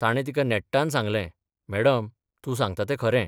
ताणे तिका नेट्टान सांगलें मॅडम, तूं सांगता तें खरें.